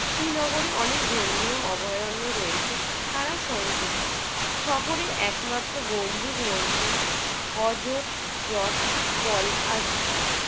শ্রীনগরে অনেক ধর্মীয় অভয়ারণ্য রয়েছে, তারা সংযুক্ত। শহরের একমাত্র গম্বুজ মসজিদটি হজত~ রত পল আর স্থান